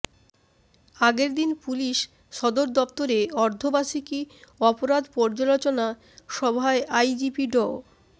আগের দিন পুলিশ সদর দপ্তরে অর্ধবার্ষিকী অপরাধ পর্যালোচনা সভায় আইজিপি ড